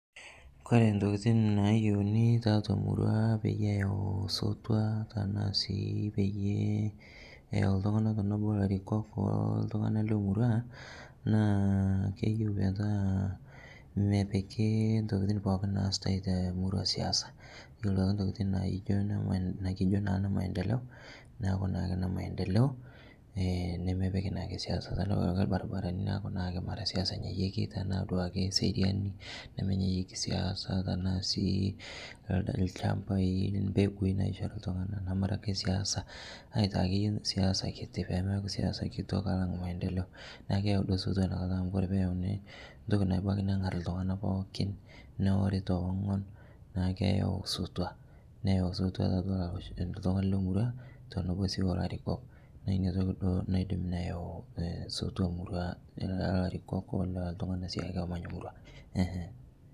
Kore ntokitin nayeuni taatua murua peiyee eyau sotua tanaa sii peiyee eyau ltung'ana tonoboo larikok oltung'ana lemurua naa keyeu metaa mepikii ntokitii pooki naatai temurua siasa iyolo duake ntokitin naijoo nikijoo naa nemaendeleo naaku naake nemaendeleo nemepikii naake siasa tanaa duake lbarbaranii naaku naake mara siasa enyayieki tanaa sii duake seriani nemenyayieki siasa tanaa sii lchampai, mpekui naishori ltung'ana namara akee siasa siasa aitaa akeye siasa kitii , pemeaku siasa kitok alang' maendeleo naaku keyau duo sotua inia kataa amu kore peyaunii ntoki nabakii nang'ar ltung'ana pookin neworii tewing'on naa keyau sotua neyau sotua taatua ltung'ana lemurua teneboo sii olarikok naa inia toki duo naidim neyau sotua murua tanaa larikok tanaa siake ltung'ana emanya murua.